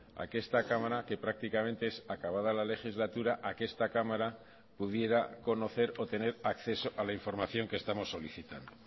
a que esta cámara que prácticamente es acabada la legislatura a que esta cámara pudiera conocer o tener acceso a la información que estamos solicitando